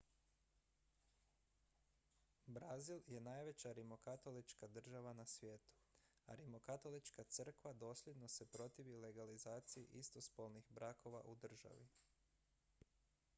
brazil je najveća rimokatolička država na svijetu a rimokatolička crkva dosljedno se protivi legalizaciji istospolnih brakova u državi